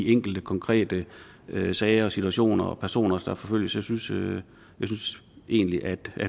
enkelte konkrete sager og situationer og personer der forfølges jeg synes synes egentlig at